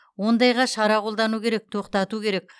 ондайға шара қолдану керек тоқтату керек